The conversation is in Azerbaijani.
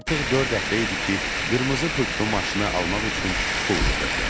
Artıq dörd həftə idi ki, qırmızı pultlu maşını almaq üçün pul yığırdım.